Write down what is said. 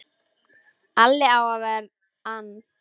Alli á að ver ann!